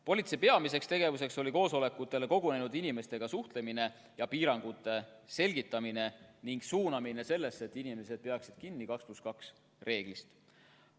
Politsei peamine tegevus oli koosolekutele kogunenud inimestega suhtlemine ja piirangute selgitamine ning osalejate suunamine nii, et inimesed peaksid kinni 2 + 2 reeglist.